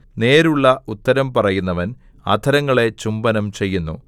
നേരുള്ള ഉത്തരം പറയുന്നവൻ അധരങ്ങളെ ചുംബനം ചെയ്യുന്നു